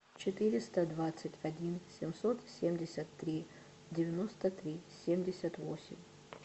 четыреста двадцать один семьсот семьдесят три девяносто три семьдесят восемь